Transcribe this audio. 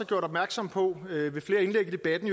gjort opmærksom på ved ved flere indlæg i debatten